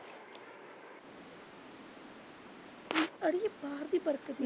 ਅੜੀਏ ਬਾਹਰ ਦੀ ਬਰਕਤ ਹੈਨੀ।